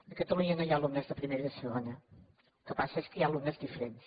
a catalunya no hi ha alumnes de primera i de segona el que passa és que hi ha alumnes diferents